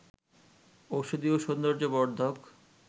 ঔষধি ও সৌন্দর্য বর্ধক